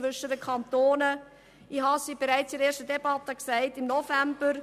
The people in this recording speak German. Ich sagte es bereits anlässlich der ersten Debatte im November: